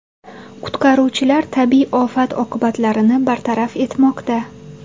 Qutqaruvchilar tabiiy ofat oqibatlarini bartaraf etmoqda.